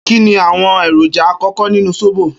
Kini awọn eroja akọkọ nínú sóbò?